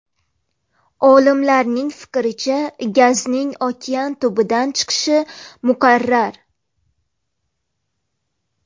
Olimlarning fikricha, gazning okean tubidan chiqishi muqarrar.